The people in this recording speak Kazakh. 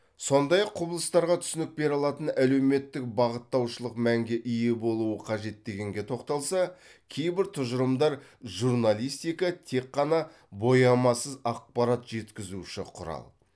сондай ақ құбылыстарға түсінік бере алатын әлеуметтік бағыттаушылық мәнге ие болуы қажет дегенге тоқталса кейбір тұжырымдар журналистика тек қана боямасыз ақпарат жеткізуші құрал